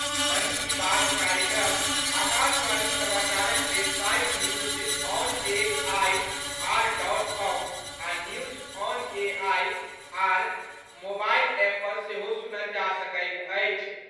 मन की बात कार्यक्रम आकाशवाणी समाचारक website news on A I R dot com आ news on A I R mobile app पर सेहो सुनल जा सकैत अछि।